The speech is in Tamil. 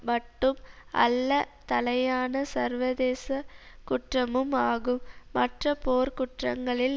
மட்டும் அல்ல தலையான சர்வதேச குற்றமும் ஆகும் மற்ற போர்க்குற்றங்களில்